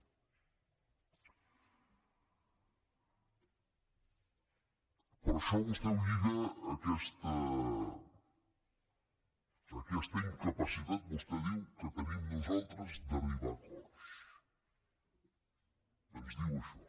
però això vostè ho lliga a aquesta incapacitat vostè diu que tenim nosaltres d’arribar a acords ens diu això